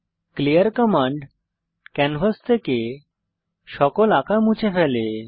clear command canvas থেকে সকল আঁকা মুছে ফেলে